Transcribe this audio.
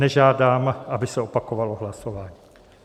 Nežádám, aby se opakovalo hlasování.